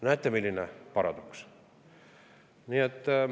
Näete, milline paradoks!